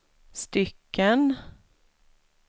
stycken